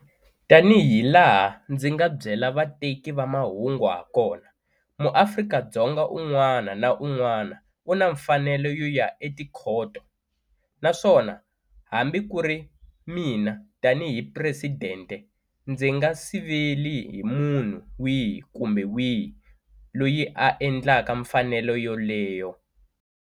Tanihilaha ndzi nga byela vateki va mahungu hakona, muAfrika-Dzonga un'wana na un'wana u na mfanelo yo ya etikhoto, naswona hambi ku ri mina tanihi Presidente ndzi nge siveli hi munhu wihi kumbe wihi loyi a endlaka mfanelo yoleyo.